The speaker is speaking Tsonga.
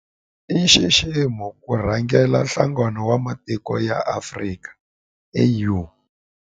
I nxiximo ku rhangela Nhlangano wa Matiko ya Afrika AU.